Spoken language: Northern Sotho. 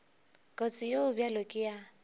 kotsi ye bjalo ka ye